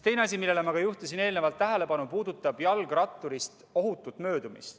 Teine asi, millele ma samuti juhtisin eelnevalt tähelepanu, puudutab jalgratturist ohutut möödumist.